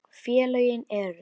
Félögin eru